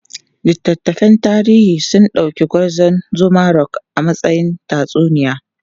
Littattafan tarihi sun dauki Gwarzon Zuma Rock a matsayin tatsuniya.